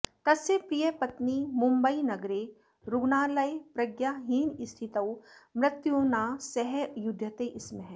तस्य प्रियपत्नी मुम्बैनगरे रुग्णालये प्रज्ञाहीनस्थितौ मृत्युना सह युध्यते स्म